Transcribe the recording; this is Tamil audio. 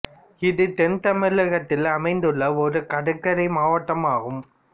இது தென் தமிழகத்தில் அமைந்துள்ள ஒரு கடற்கரை மாவட்டம் ஆகும்